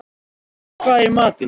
Finna, hvað er í matinn?